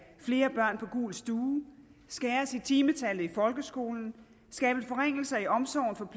flere børn på gul stue skæres i timetallet i folkeskolen og skabes forringelser i omsorgen for